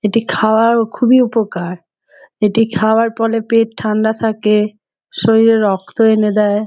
এটি খাওয়ার খুবই উপকার এটি খাওয়ার পলে পেট ঠান্ডা থাকে শরীরে রক্ত এনে দেয়।